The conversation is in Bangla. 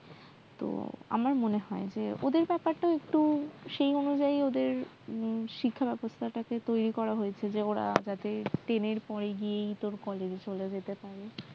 তো আমার মনে হয় যে ওদের ব্যাপারটা সেই অনুযায়ী ওদের শিক্ষা ব্যবস্থাটাকে তৈরী করা হয়েছে ওরা যাতে ten এর পরেই college এ চলে যেতে পারে